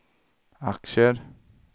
aktier